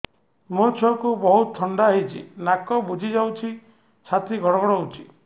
ମୋ ଛୁଆକୁ ବହୁତ ଥଣ୍ଡା ହେଇଚି ନାକ ବୁଜି ଯାଉଛି ଛାତି ଘଡ ଘଡ ହଉଚି